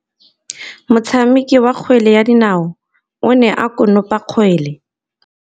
Motshameki wa kgwele ya dinaô o ne a konopa kgwele.